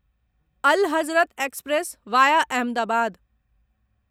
Al Hazrat express via Ahmedabad